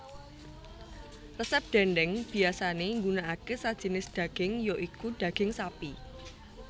Resep dhèndhèng biyasané nggunakake sajinis dhaging ya iku dhaging sapi